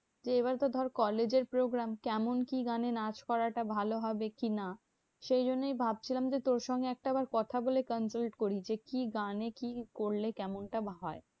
এবার তো ধর college এর programme. কেমন কি গানে নাচ করাটা ভালো হবে কি না? সেই জন্যেই ভাবছিলাম যে তোর সঙ্গে একটা বার কথা বলে করি যে, কি গানে কি করলে কেমনটা হয়?